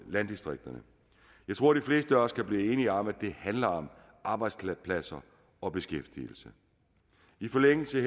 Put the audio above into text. landdistrikterne jeg tror de fleste af os kan blive enige om at det handler om arbejdspladser og beskæftigelse i forlængelse